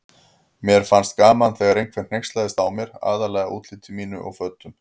Mér fannst gaman þegar einhver hneykslaðist á mér, aðallega útliti mínu og fötum.